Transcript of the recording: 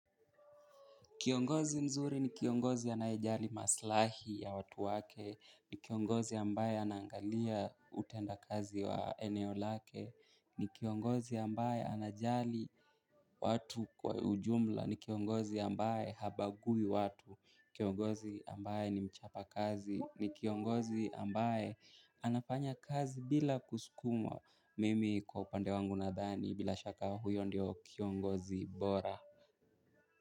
Kiongozi mzuri ni kiongozi anaejali maslahi ya watu wake, ni kiongozi ambaye anaangalia utenda kazi wa eneo lake, ni kiongozi ambaye anajali watu kwa ujumla, ni kiongozi ambae habagui watu, kiongozi ambae nimchapa kazi, ni kiongozi ambae anafanya kazi bila kusukumwa mimi kwa upande wangu nadhani bila shaka huyo ndio kiongozi bora.